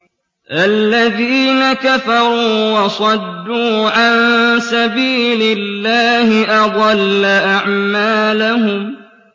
الَّذِينَ كَفَرُوا وَصَدُّوا عَن سَبِيلِ اللَّهِ أَضَلَّ أَعْمَالَهُمْ